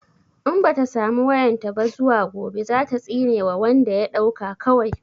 In bata samu wayan ta ba zuwa gobe zata tsine wa wanda ya ɗauka kawai